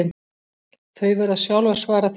Þau verða sjálf að svara því